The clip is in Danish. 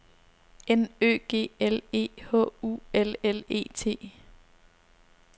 N Ø G L E H U L L E T